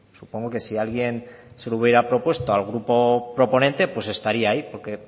supongo que si alguien se lo hubiera propuesto al grupo proponente pues estaría ahí porque